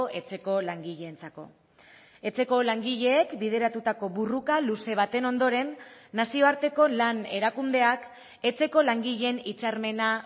etxeko langileentzako etxeko langileek bideratutako borroka luze baten ondoren nazioarteko lan erakundeak etxeko langileen hitzarmena